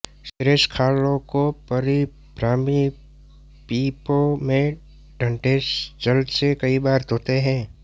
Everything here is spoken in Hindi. शेष खालों को परिभ्रामी पीपों में ठंढे जल से कई बार धोते हैं